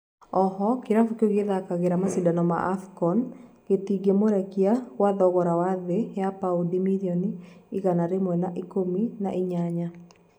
oho kirabu kĩu gĩthakagĩra macindano ma AFCON gĩtigĩmurekia kwa thogora wĩ thĩĩ ya paundi mirioni igana rimwe na ikũmi na inyanya